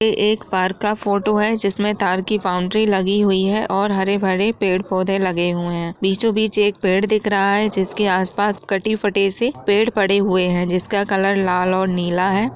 यह एक पार्क का फोटो है जिसमें तार की बाउंड्री लगी हुई है और हरे-भरे पेड़-पौधे लगे हुए हैं| बीचों-बीच एक पेड़ दिख रहा है जिसके आस-पास कटे-फटे से पेड़ पड़े हुए हैं जिसका कलर लाल और नीला है।